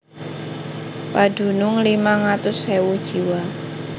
Padunung limang atus ewu jiwa